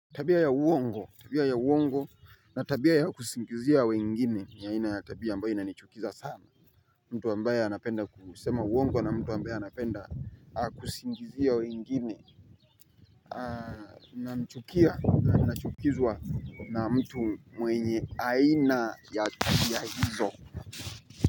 Tabia ya uongo tabia ya uongo na tabia ya kusingizia wengine ya aina ya tabia ambayo inanichukiza sana mtu ambaye anapenda kusema uongo na mtu ambaye anapenda kusingizia wengine namchukia na nachukizwa na mtu mwenye aina ya tabia hizo.